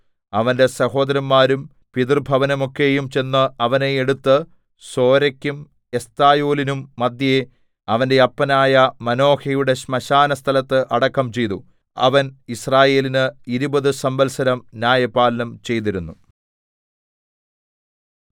അവന്റെ സഹോദരന്മാരും പിതൃഭവനമൊക്കെയും ചെന്ന് അവനെ എടുത്ത് സോരെക്കും എസ്തായോലിന്നും മദ്ധ്യേ അവന്റെ അപ്പനായ മാനോഹയുടെ ശ്മശാനസ്ഥലത്ത് അടക്കം ചെയ്തു അവൻ യിസ്രായേലിന് ഇരുപത് സംവത്സരം ന്യായപാലനം ചെയ്തിരുന്നു